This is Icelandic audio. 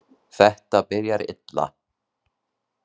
Þetta byrjar illa.